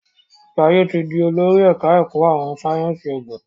Jaiye tí dì olórí ẹka ẹkọ àwọn sáyẹnsì oògùn.